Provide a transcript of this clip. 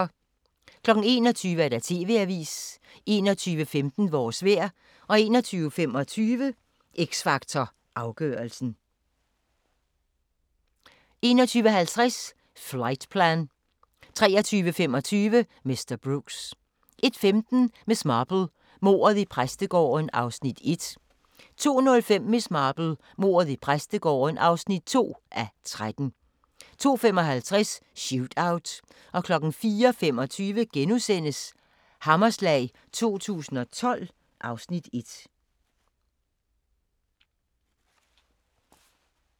21:00: TV-avisen 21:15: Vores vejr 21:25: X Factor Afgørelsen 21:50: Flightplan 23:25: Mr. Brooks 01:15: Miss Marple: Mordet i præstegården (1:3) 02:05: Miss Marple: Mordet i præstegården (2:3) 02:55: Shootout 04:25: Hammerslag 2012 (Afs. 1)*